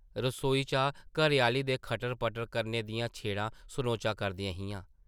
रसोई चा घरै-आह्ली दे खटर-पटर करने दियां छेड़ां सनोचा करदियां हियां ।